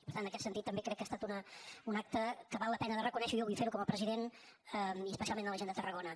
per tant en aquest sentit també crec que ha estat un acte que val la pena de reconèixer i jo vull fer ho com a president i especialment a la gent de tarragona